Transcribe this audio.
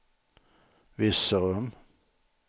Virserum